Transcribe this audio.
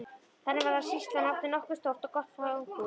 Þannig var að sýslan átti nokkuð stórt og gott fangahús.